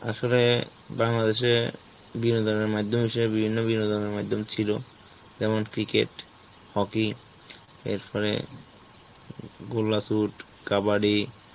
আসলে Bangladesh এ বিনোদনের মাইধ্যম হিসেবে বিভিন্ন বিনোদনের মাইধ্যম ছিল, যেমন cricket, hockey, এরপরে গোল্লা shoot, কাবাডি